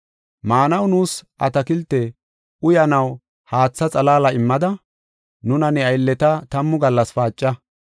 “Maanaw nuus atakilte, uyanaw haatha xalaala immada, nuna ne aylleta tammu gallas paaca.